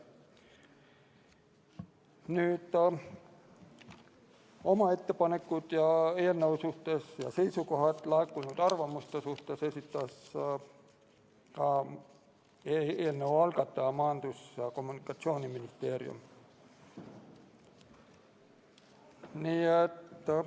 Oma ettepanekud eelnõu suhtes ja seisukohad laekunud arvamuste suhtes esitas ka eelnõu algataja Majandus- ja Kommunikatsiooniministeerium.